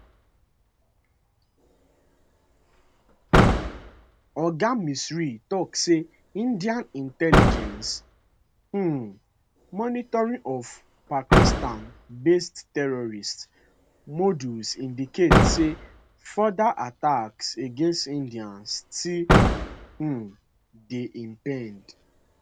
oga misri tok say indian intelligence um monitoring of pakistanbased terrorist modules indicate say further attacks against india still um dey impend